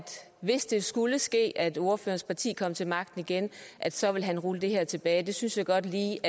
hvis det skulle ske at ordførerens parti kom til magten igen så vil han rulle det her tilbage det synes jeg godt lige